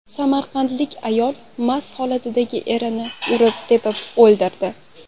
Samarqandlik ayol mast holatdagi erini urib-tepib o‘ldirdi.